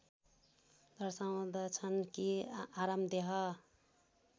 दर्शाउँदछन् कि आरामदेह